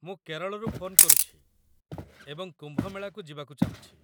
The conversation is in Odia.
ମୁଁ କେରଳରୁ ଫୋନ୍ କରୁଛି ଏବଂ କୁମ୍ଭ ମେଳାକୁ ଯିବାକୁ ଚାହୁଁଛି।